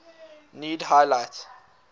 need high light